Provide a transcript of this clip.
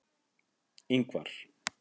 Ingvar